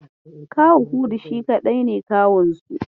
Kawu Hudu shi kaɗai ne kawunsu.